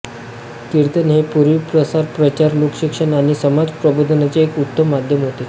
कीर्तन हे पूर्वी प्रसार प्रचार लोकशिक्षण आणि समाजप्रबोधनाचे एक उत्तम माध्यम होते